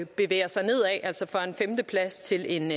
bevæger sig nedad fra en femteplads til en